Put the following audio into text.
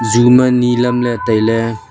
chu ma ni lamle taile.